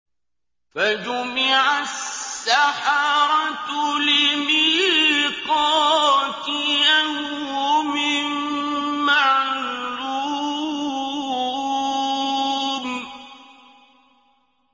فَجُمِعَ السَّحَرَةُ لِمِيقَاتِ يَوْمٍ مَّعْلُومٍ